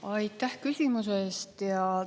Aitäh küsimuse eest!